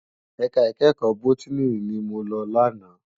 Èká ikèékò bótìní ni mó lò làná